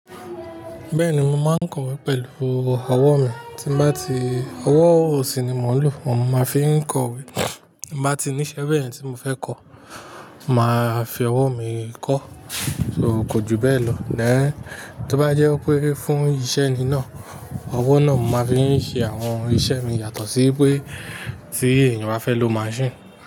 Bẹ́ẹ̀ni, mo máa ń kọ̀wé pẹ̀lú ọwọ́ mi, tí bá ti, ọwọ́ òsì ni mò ń lò fún, mo máa fi ń kọ̀wé. Bí ń bá ti níṣẹ́ bẹ́ẹ̀ tí mo fẹ́ kọ, màá fi ọwọ́ mi kọ́, so kò ju bẹ́ẹ̀ lọ. Then, tó bá jẹ́ pé fún iṣẹ́ ni náà, ọwọ́ náà mo máa fi ń ṣe àwọn iṣẹ́ mi yàtọ̀ sí pé tí èèyàn bá fẹ́ lo machine.